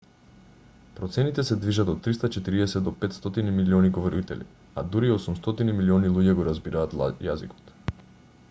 процените се движат од 340 до 500 милиони говорители а дури 800 милиони луѓе го разбираат јазикот